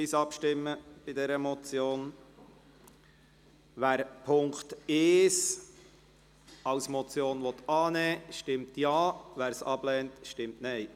Wer den Punkt 2 abschreiben will, stimmt Ja, wer dies ablehnt, stimmt Nein.